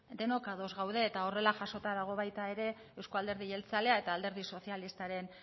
denok ados gaude eta horrela jasota dago euzko alderdi jeltzale eta alderdi sozialistaren